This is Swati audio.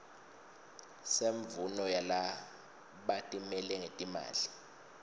semvumo yalabatimele ngetimali